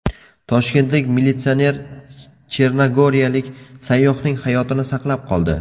Toshkentlik militsioner chernogoriyalik sayyohning hayotini saqlab qoldi.